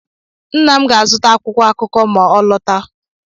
Nna m ga-azụta akwụkwọ akụkọ ma ọ n'alọta.